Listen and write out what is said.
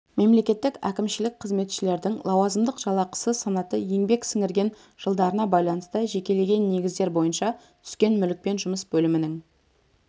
мемлекеттік әкімшілік қызметшілердің лауазымдық жалақысы санаты еңбек сіңірген жылдарына байланысты жекелеген негіздер бойынша түскен мүлікпен жұмыс бөлімінің